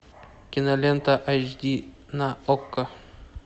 кинолента эйч ди на окко